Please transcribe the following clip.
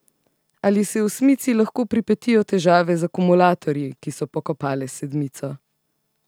Ali se osmici lahko pripetijo težave z akumulatorji, ki so pokopale sedmico?